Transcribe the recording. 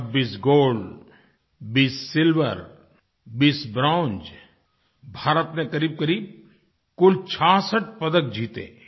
26 gold 20 silver 20 bronze Bharat ने क़रीबक़रीब कुल 66 पदक जीते